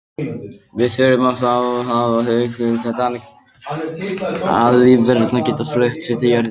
Við þurfum þá að hafa hugfast að lífverurnar geta flutt sig til á jörðinni.